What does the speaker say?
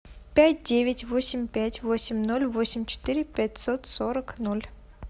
пять девять восемь пять восемь ноль восемь четыре пятьсот сорок ноль